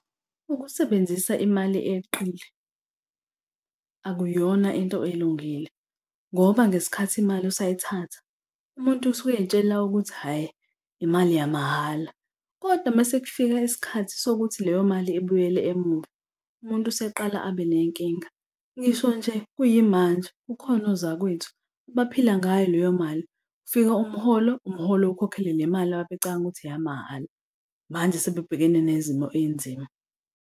Ukusebenzisa imali eyeqile akuyona into elungile ngoba ngesikhathi imali usayithatha umuntu usuke ey'tshela ukuthi hhayi imali yamahhala. Kodwa uma sekufika isikhathi sokuthi leyo mali ibuyele emuva, umuntu useqala abe nenkinga. Ngisho nje kuyimanje kukhona ozakwethu, baphila ngayo leyo mali. Kufika umholo, umholo ukhokhele le mali ababecabanga ukuthi eyamahhala. Manje, sebebhekene nezimo ey'nzima.